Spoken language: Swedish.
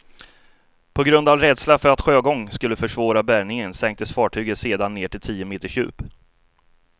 På grund av rädsla för att sjögång skulle försvåra bärgningen sänktes fartyget sedan ned till tio meters djup.